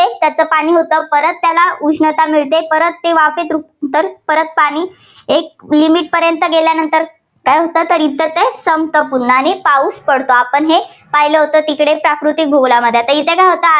त्याचं पाणी होतं परत त्याला उष्णता मिळते परत ती वाफेत रु~ रूपांतर, परत पाणी एक limit पर्यंत गेल्यानंतर काय होतं? तर ते संपत पूर्ण आणि पाऊस पडतो. आपण हे पाहिलं होतं तिकडे प्राकृतिक भूगोलामध्ये. आता इथं काय होतं?